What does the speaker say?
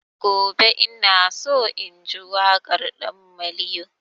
Gobe ina so na ji waƙar ɗan maliyo